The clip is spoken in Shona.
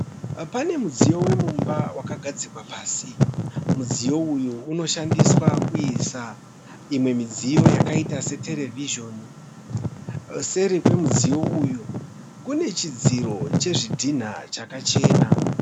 Pane mudziyo wemumba wakagadzikwa pasi. Mudziyo uyu unoshandiswa kuisa imwe midziyo yakaita se terevhizhoni . Seri kwemudziyo uyu , Kune chidziro chezvidhina chakachena.